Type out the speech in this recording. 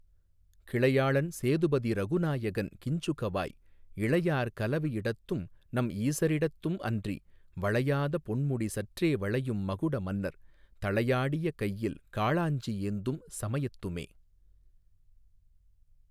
கிளையாளன் சேது பதிரகு நாயகன் கிஞ்சுகவாய் இளையார் கலவி யிடத்தும்நம் ஈச ரிடத்தும்அன்றி வளையாத பொன்முடி சற்றே வளையும் மகுடமன்னர் தளையா டியகையில் காளாஞ்சி ஏந்தும் சமயத்துமே.